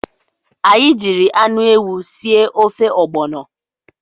Anyị jiri anụ ewu sie ofe ọgbọnọ.